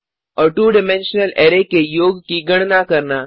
और 2 dimensional array के योग की गणना करना